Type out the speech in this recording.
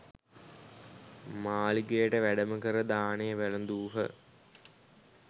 මාලිගයට වැඩම කර දානය වැළදූහ.